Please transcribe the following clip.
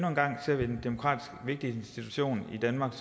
demokratisk vigtig institution i danmark